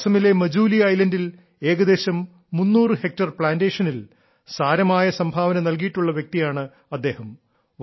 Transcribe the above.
അസമിലെ മജൂലി ദ്വീപിൽ ഏകദേശം 300 ഹെക്ടർ പ്ലാന്റേഷനിൽ സാരമായ സംഭാവന നൽകിയിട്ടുള്ള വ്യക്തിയാണ് അദ്ദേഹം